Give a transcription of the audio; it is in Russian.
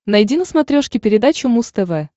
найди на смотрешке передачу муз тв